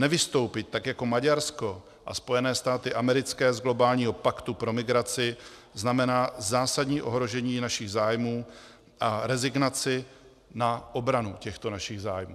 Nevystoupit tak jako Maďarsko a Spojené státy americké z globálního paktu pro migraci znamená zásadní ohrožení našich zájmů a rezignaci na obranu těchto našich zájmů.